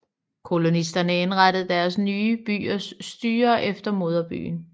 Kolonisterne indrettede de nye byers styre efter moderbyen